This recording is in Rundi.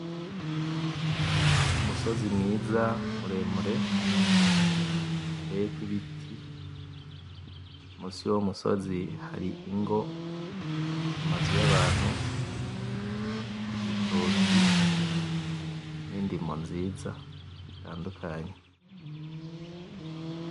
Umusozi mwiza muremure, uteyeko ibiti, munsi yuwo musozi hari ingo, amazu y'abantu, ibitoki, n'indimo nziza zitandukanye.